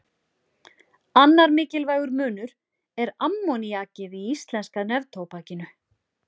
Annar mikilvægur munur er ammoníakið í íslenska neftóbakinu.